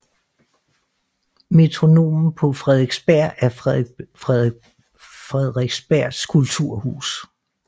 Metronomen på Frederiksberg er Frederiksbergs kulturhus